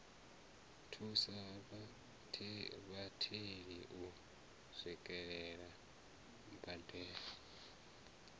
thusa vhatheli u swikelela mbadelo